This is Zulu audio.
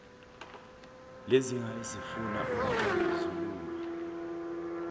lezinkinga ezifuna ukuxazululwa